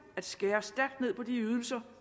at skære stærkt ned på de ydelser